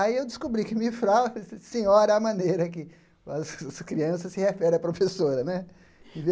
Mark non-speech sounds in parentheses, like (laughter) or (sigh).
Aí, eu descobri que mifral, (laughs) senhora, é a maneira que as crianças se referem à professora, né?